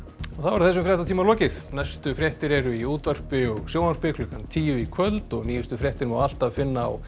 þessum fréttatíma er lokið næstu fréttir eru í útvarpi og sjónvarpi klukkan tíu í kvöld og nýjustu fréttir má alltaf finna á